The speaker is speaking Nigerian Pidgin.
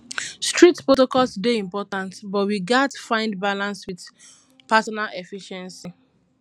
strict protocols dey important but we gats find balance with personal efficiency